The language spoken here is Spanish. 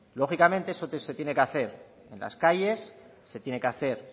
lógicamente esto se tiene que hacer en las calles se tiene que hacer